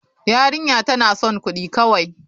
Yarinya tana son kudi kawai.